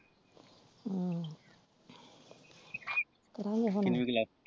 ਹਮ .